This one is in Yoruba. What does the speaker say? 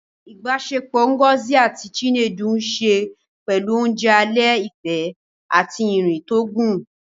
Ìbáṣepọ̀ Ngozi àti Chinedu ní ṣe pẹ̀lú oúnjẹ alẹ́ ìfẹ́ àti ìrìn tó gùn